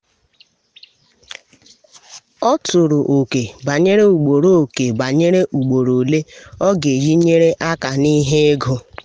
ọ tụrụ ókè banyere ugboro ókè banyere ugboro ole ọ ga eji nyere aka n’ihe ego.